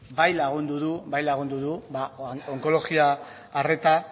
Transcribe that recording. bai lagundu du onkologia arreta